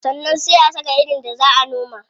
Sannan sai a saka irin da zaa a noma.